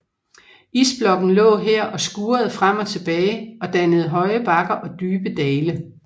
Isblokken lå her og skurede frem og tilbage og dannede høje bakker og dybe dale